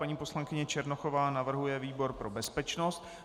Paní poslankyně Černochová navrhuje výbor pro bezpečnost.